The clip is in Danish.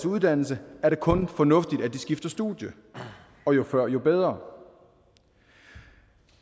uddannelse er det kun fornuftigt at man skifter studie og jo før jo bedre